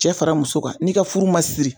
Cɛ fara muso kan n'i ka furu ma siri